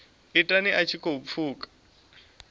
ita a tshi khou pfuka